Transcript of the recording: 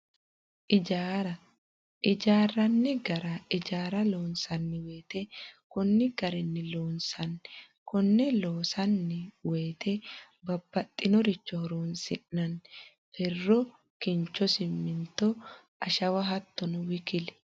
Ijjaara ijjaranni gara , ijjaara loonsanni woyite konni garinni loonsanni, kone loonsanni woyite babaxinoricho horonsinanni, fero, kincho, siminto, ashawa hattono wkl